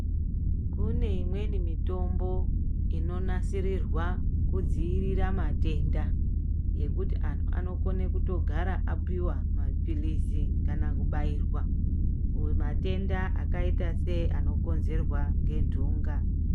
Kune imweni mitombo inonasirirwa kudzivirira matoenda, ngekuti anthu anokone kutogara apiwa mapilizi kana kubairwa kumatenda akaita seano konzerwa ngenthunga